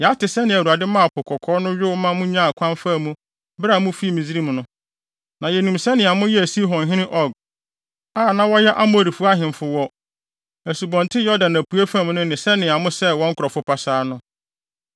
Yɛate sɛnea Awurade maa Po Kɔkɔɔ no yow ma munyaa kwan faa mu bere a mufii Misraim no. Na yenim sɛnea moyɛɛ Sihon ne Og a na wɔyɛ Amorifo ahemfo wɔ Asubɔnten Yordan apuei fam no ne sɛnea mosɛee wɔn nkurɔfo pasaa no.